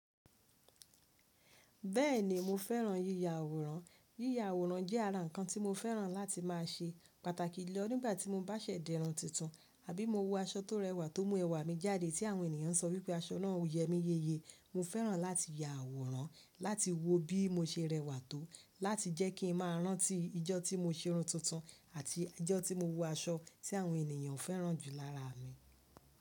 Bẹ́ẹ̀ni mo fẹ́ràn yíya àwòrán. Yíya àwòrán jẹ́ ara nǹkan tí mo fẹ́ràn láti má a ṣe, pàtàkì jù lọ nígbà tí mo bá ṣẹ̀ di irun tuntun àbí mo wọ aṣọ tó rẹwà tó mú ẹwà mi jáde tí àwọn ènìyàn sọ wípé aṣọ náà yẹ mí yeye. Mo fẹ́ràn láti ya àwòrán láti wo bí mo se rẹwà tó, láti jẹ́ kí n má a rántí ijọ́ tí mo se irun tuntun àti ijọ́ tí mo wọ aṣọ tí àwọn ènìyàn fẹ́ràn jù lára mi.